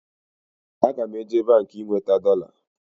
Aga m eje Baankị ị nweta dọla